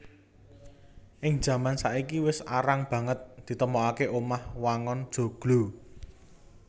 Ing jaman saiki wis arang banget ditemokaké omah wangun joglo